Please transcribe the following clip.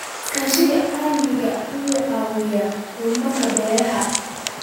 Iskaashiga caalamiga ah wuxuu caawiyaa horumarinta beeraha.